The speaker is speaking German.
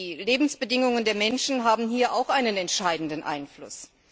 Die Lebensbedingungen der Menschen haben hier ebenfalls einen entscheidenden Einfluss.